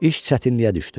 İş çətinliyə düşdü.